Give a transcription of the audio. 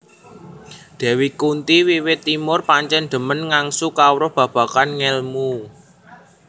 Dewi Kunthi wiwit timur pancen dhemen ngangsu kawruh babagan ngelmu